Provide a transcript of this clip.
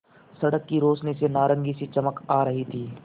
सड़क की रोशनी से नारंगी सी चमक आ रही थी